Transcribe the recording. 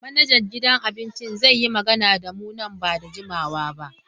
Manajan gidan abincin zai yi magana da mu nan ba da jimawa ba.